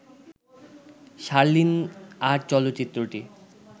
শার্লিন আর চলচ্চিত্রটি